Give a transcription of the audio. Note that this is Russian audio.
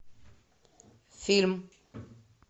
фильм